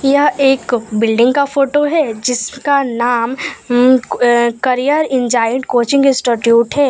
यह एक बिल्डिंग का फोटो है जिसका नाम um uh career insight coaching institute है।